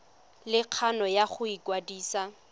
le kgano ya go ikwadisa